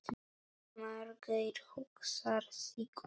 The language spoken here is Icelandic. Margeir hugsar sig um.